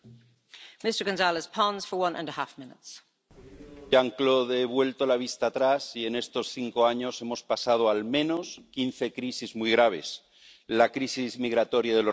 Señora presidenta, Jean Claude, he vuelto la vista atrás y en estos cinco años hemos pasado al menos quince crisis muy graves la crisis migratoria de los refugiados